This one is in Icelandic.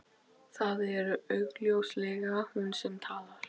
Það er augljóslega hún sem talar.